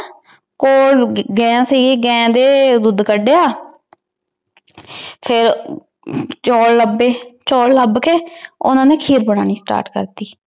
ਊ ਗਾਇਨ ਸੀਗੀ ਗਾਇਨ ਦੇ ਦੋਧ ਕਦ੍ਯਾ ਫੇਰ ਚੌਲ ਲਭੀ ਚੌਲ ਲਾਭ ਕੇ ਓਹਨਾਂ ਨੇ ਖੀਰ ਬਣਾਉਣੀ START ਕਰਤੀ